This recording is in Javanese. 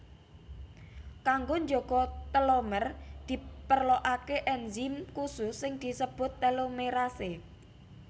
Kanggo njaga telomer diperlokaké enzim khusus sing disebut telomerase